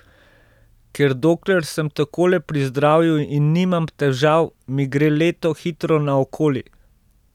Ker dokler sem takole pri zdravju in nimam težav, mi gre leto hitro naokoli.